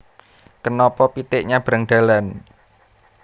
Kenapa pitik nyabrang dalan